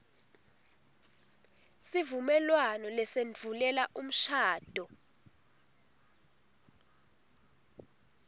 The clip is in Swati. sivumelwano lesendvulela umshado